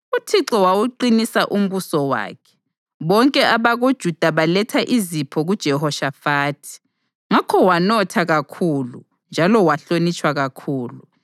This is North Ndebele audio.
UThixo wawuqinisa umbuso wakhe, bonke abakoJuda baletha izipho kuJehoshafathi, ngakho wanotha kakhulu njalo wahlonitshwa kakhulu.